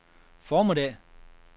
formiddag